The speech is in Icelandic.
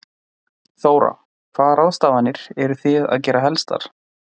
Þóra: Hvaða ráðstafanir eru þið að gera helstar?